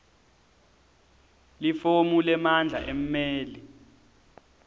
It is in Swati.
lifomu lemandla emmeli